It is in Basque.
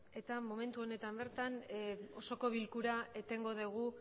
eta momentu honetan bertan osoko bilkura etengo dugu